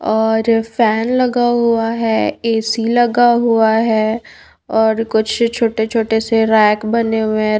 और फॅन लगा हुआ है ए_सी लगा हुआ है और कुछ छोटे छोटे से रैक बने हुए है।